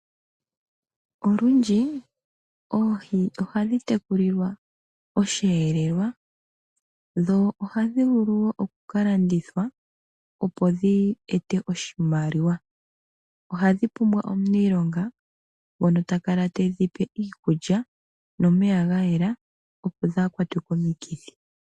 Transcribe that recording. Olwindji oohi ohadhi tekulilwa Osheelelwa dho ohadhi vulu woo okukalandithwa opo dhi e te oshimaliwa. Ohadhi pumbwa omuniilonga ngono ta kala te dhi pe iikulya nomeya gayela opo dhaakwatwe komikithi.